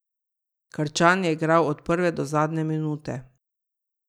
Krčan je igral od prve do zadnje minute.